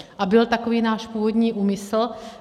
A byl takový náš původní úmysl.